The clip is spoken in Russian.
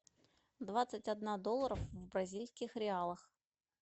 двадцать одна долларов в бразильских реалах